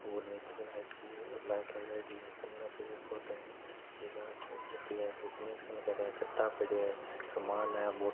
और नीचे लाइट की गई है लाइट लगाई की है कन पेड़ पौधे है। एक आदमी बैठो है कनेक्शन करे कटा पड़ा है।